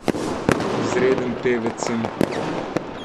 Izreden pevec sem.